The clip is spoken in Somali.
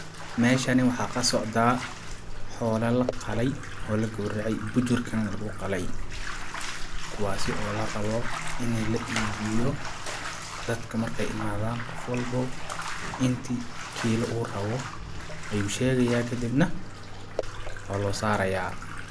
Meeshani waxaa ka socdaa xoola la qalay oo l gowracay bujurkana lagu qalay ,kuwaasi oo la rabo ini la iibiyo dadka markaay imadaan qof walbo inti kiilo uu rabo ayuu sheegaya kadibna waa loo sarayaa .